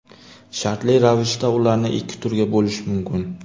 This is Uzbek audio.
Shartli ravishda ularni ikki turga bo‘lish mumkin.